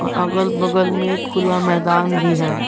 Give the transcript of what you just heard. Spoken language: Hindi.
अगल बगल में खुला मैदान भी है।